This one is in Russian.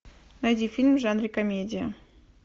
найди фильм в жанре комедия